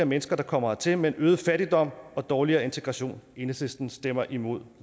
mennesker der kommer hertil men øget fattigdom og dårligere integration enhedslisten stemmer ind imod